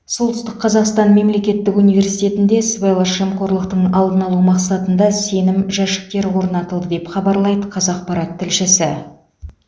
солтүстік қазақстан мемлекеттік университетінде сыбайлас жемқорлықтың алдын алу мақсатында сенім жәшіктері орнатылды деп хабарлайды қазақпарат тілшісі